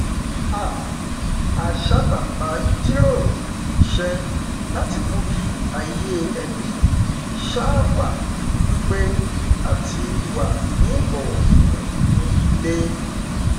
um a sábà maá n jíròrò iṣẹ láti mú kí ayé ẹbí um wà ní pípé àti wà ní ìbọwọfún ní ilé